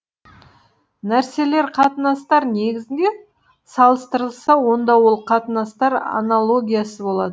нәрселер қатынастар негізінде салыстырылса онда ол қатынастар анологиясы болады